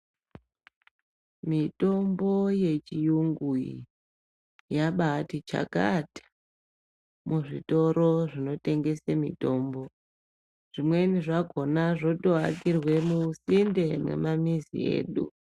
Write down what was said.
Mitombo yechiyungu iyi yabati chakata muzvitoro zvinotengese mitombo. Zvimweni zvakona zvotovakirwe musinde mwemamizi edu.